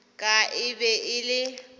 ka e be e le